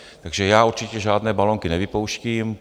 Takže já určitě žádné balonky nevypouštím.